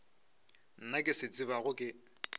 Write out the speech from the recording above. nna ke se tsebago ke